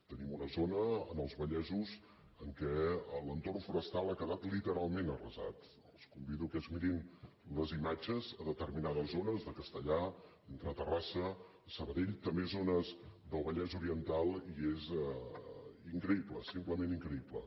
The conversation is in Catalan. tenim una zona als vallesos en què l’entorn forestal ha quedat literalment arrasat els convido que es mirin les imatges a determinades zones de castellar entre terrassa i sabadell també zo·nes del vallès oriental i és increïble simplement in·creïble